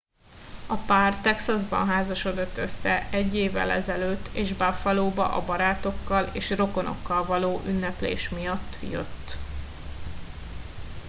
a pár texasban házasodott össze egy évvel ezelőtt és buffalóba a barátokkal és rokonokkal való ünneplés miatt jött